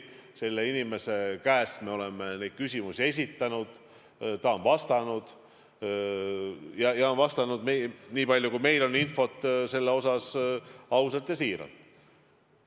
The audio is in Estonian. Selle inimese käest me oleme küsimusi küsinud, ta on neile vastanud ja on vastanud, niipalju kui meil on selle kohta infot, ausalt ja siiralt.